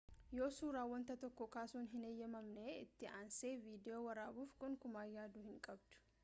yoo suraa wanta tokkoo kaasuun hin hayamamne itti aansee vidiyoo waraabuuf gonkumaa yaaduu hin qabdu